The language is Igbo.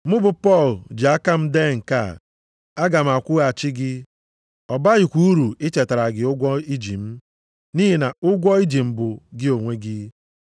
Mụ bụ Pọl ji aka m dee nke a; aga m akwụghachi gị. Ọ bakwaghị uru ichetara gị ụgwọ i ji m. Nʼihi na ụgwọ i ji m bụ gị onwe gị.